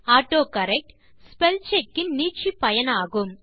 autocorrect spellcheck இன் நீட்சிப்பயனாகும்